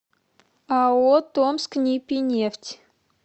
ао томскнипинефть